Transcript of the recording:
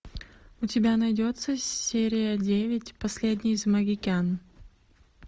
у тебя найдется серия девять последний из магикян